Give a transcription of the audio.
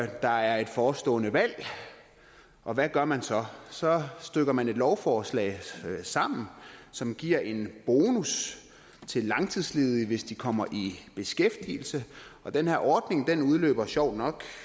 der er et forestående valg og hvad gør man så så stykker man et lovforslag sammen som giver en bonus til langtidsledige hvis de kommer i beskæftigelse og den her ordning udløber sjovt nok